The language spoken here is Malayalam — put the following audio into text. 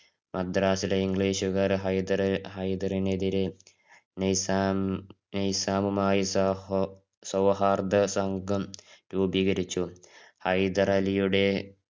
മദ്രാസിലെ english കാർ ഹൈദര്~ ഹൈദരിനെതിരെ നൈസാം~ നൈസാമുമായിട്ട് സഹോ~സൌഹാരദസംഘം രൂപീകരിച്ചു. ഹൈദരലിയുടെ